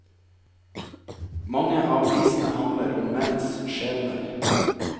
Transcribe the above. Mange av visene handler om menns skjebner.